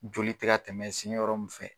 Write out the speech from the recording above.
Joli tɛ ka tɛmɛ sen yɔrɔ min fɛ